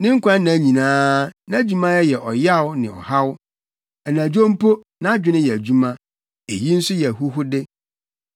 Ne nkwanna nyinaa, nʼadwumayɛ yɛ ɔyaw ne ɔhaw; anadwo mpo nʼadwene yɛ adwuma. Eyi nso yɛ ahuhude.